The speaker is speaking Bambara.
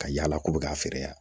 Ka yaala k'u bɛ ka feere yan